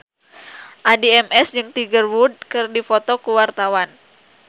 Addie MS jeung Tiger Wood keur dipoto ku wartawan